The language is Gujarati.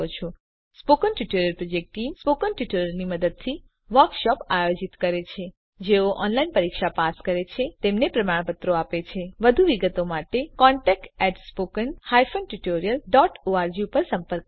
spoken tutorial project team spoken ટ્યુટોરીયલોનાં મદદથી વર્કશોપોનું આયોજન કરે છે જેઓ ઓનલાઈન પરીક્ષા પાસ કરે છે તેમને પ્રમાણપત્રો આપે છે વધુ વિગત માટે કૃપા કરી contactspoken tutorialorg પર સંપર્ક કરો